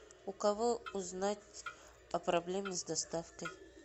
у кого узнать о проблеме с доставкой